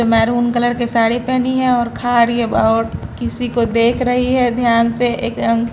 maroon colour की साड़ी पहनी है और खारीहै वो और किसी को देख रही है ध्यान से--